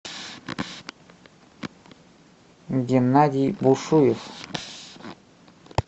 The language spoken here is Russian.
геннадий бушуев